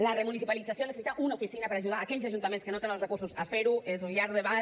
la remunicipalització necessita una oficina per ajudar aquells ajuntaments que no tenen els recursos per fer ho és un llarg debat